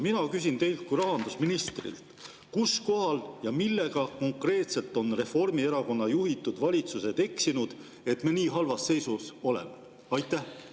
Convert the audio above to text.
Mina küsin teilt kui rahandusministrilt: kus kohal ja millega konkreetselt on Reformierakonna juhitud valitsused eksinud, et me nii halvas seisus oleme?